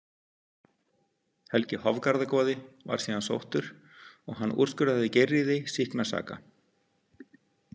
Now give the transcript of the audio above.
Helgi Hofgarðagoði var síðan sóttur og hann úrskurðaði Geirríði sýkna saka.